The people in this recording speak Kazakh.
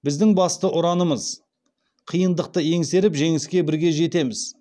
біздің басты ұранымыз қиындықты еңсеріп жеңіске бірге жетеміз